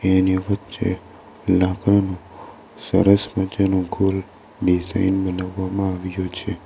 એની વચ્ચે લાકરાનું સરસ મજાનું ગોલ ડિઝાઇન બનાવવામાં આવ્યું છે.